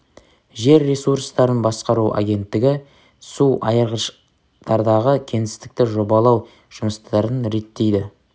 жер ресурстарын басқару агенттігі су айырғыштардағы кеңістікті жобалау жұмыстарын реттейді